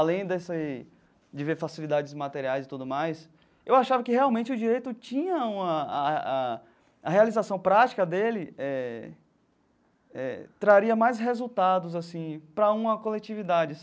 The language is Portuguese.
Além desse de ver facilidades materiais e tudo mais, eu achava que, realmente, o Direito tinha uma... A a a realização prática dele eh eh traria mais resultados assim para uma coletividade.